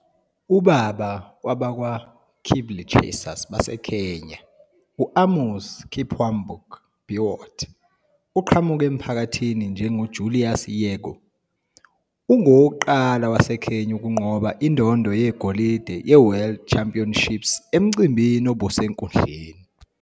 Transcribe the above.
Ubaba wabakwaKeeplechasers baseKenya u-Amos Kipwambok Biwott uqhamuka emphakathini njengoJulius Yego, ongowokuqala waseKenya ukunqoba indondo yegolide yeWorld Championships emcimbini obusenkundleni.